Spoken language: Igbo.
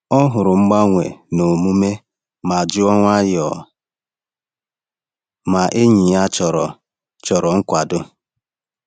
Ọ hụrụ mgbanwe n’omume ma jụọ nwayọọ ma enyi ya chọrọ chọrọ nkwado.